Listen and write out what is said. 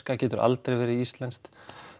getur aldrei verið íslenskt